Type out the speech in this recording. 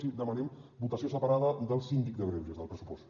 sí que demanem votació separada del síndic de greuges del pressupost